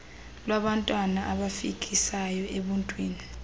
lwabantwana abafikisayo ebuntwini